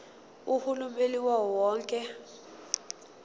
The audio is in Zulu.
uhulumeni wawo wonke